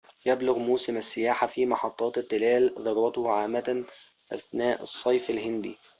يبلغ موسم السياحة في محطات التلال ذروته عامةً أثناء الصيف الهندي